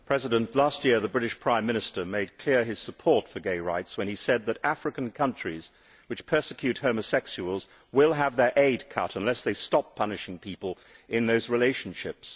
Mr President, last year the British Prime Minister made clear his support for gay rights when he said that African countries which persecute homosexuals will have their aid cut unless they stop punishing people in those relationships.